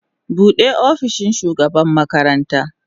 Bude opishin shugaban makaranta.